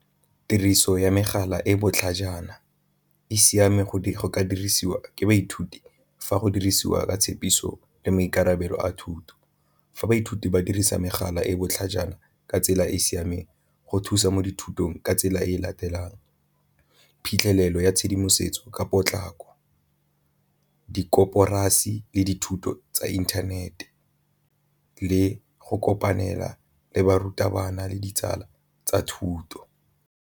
Tiriso ya megala e e botlhajana e siame go ka dirisiwa ke baithuti fa go dirisiwa ka tshepiso le maikarabelo a thuto, fa baithuti ba dirisa megala e e botlhajana ka tsela e e siameng go thusa mo dithutong ka tsela e latelang phitlhelelo ya tshedimosetso ka potlako, di koporasi le dithuto tsa inthanete le go kopanela le barutabana le ditsala tsa thuto.